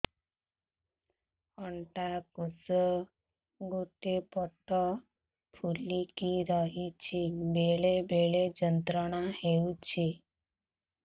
ଅଣ୍ଡକୋଷ ଗୋଟେ ପଟ ଫୁଲିକି ରହଛି ବେଳେ ବେଳେ ଯନ୍ତ୍ରଣା ହେଉଛି